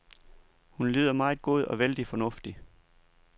Hun lyder meget god og vældig fornuftig.